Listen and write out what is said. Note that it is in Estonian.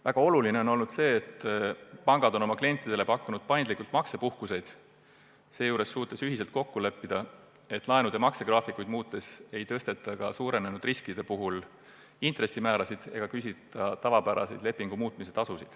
Väga oluline on olnud see, et pangad on pakkunud klientidele paindlikult maksepuhkust ja suutnud seejuures ühiselt kokku leppida, et laenude maksegraafikuid muutes ei tõsteta suurenenud riskidest hoolimata intressimäärasid ega küsita tavapärast lepingu muutmise tasu.